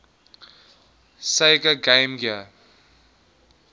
sega game gear